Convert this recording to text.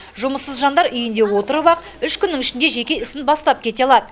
жұмыссыз жандар үйінде отырып ақ үш күннің ішінде жеке ісін бастап кете алады